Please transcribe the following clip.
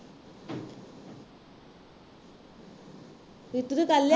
ਰੀਤੂ ਨੇ ਕਰ ਲਿਆ